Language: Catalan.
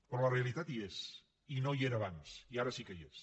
però la realitat hi és i no hi era abans i ara sí que hi és